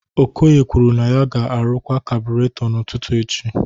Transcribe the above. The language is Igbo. Okoye kwuru na ya ga-arụkwa kabureto n'ụtụtụ echi